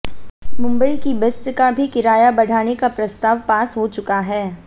मुंबई की बेस्ट का भी किराया बढ़ाने का प्रस्ताव पास हो चुका है